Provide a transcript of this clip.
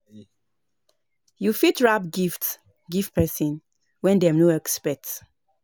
You fit wrap gift give person wen dem no expect